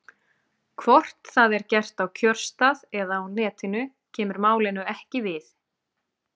Hvort það er gert á kjörstað eða á Netinu kemur málinu ekki við.